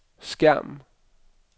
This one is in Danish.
skærm